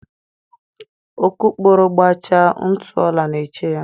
Okokporo gbachaa, ntụ ọla na-eche ya